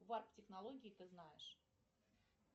варп технологии ты знаешь